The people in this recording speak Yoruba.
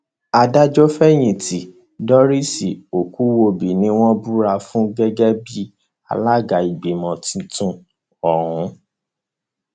adájọfẹyìntì doris okuwòbí ni wọn búra fún gẹgẹ bíi alága ìgbìmọ tuntun ọhún